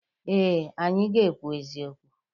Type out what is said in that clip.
Ee, anyị ga-ekwu eziokwu.